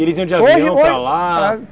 E eles iam de avião para lá? Hoje, hoje